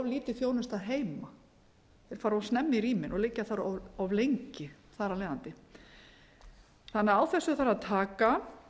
lítil þjónusta heima þeir fara of snemma í rýmin og liggja þar of lengi þar af leiðandi þannig að á þessu þarf að taka